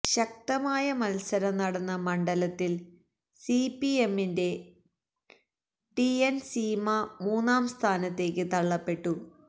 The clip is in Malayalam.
ശക്തമായ മത്സരം നടന്ന മണ്ഡലത്തില് സിപിഎമ്മിന്റെ ടിഎന് സീമ മൂന്നാം സ്ഥാനത്തേക്ക് തള്ളപ്പെട്ടു